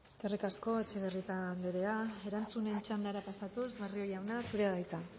eskerrik asko etxebarrieta andrea erantzuten txandara pasatuz barrio jauna zurea da hitza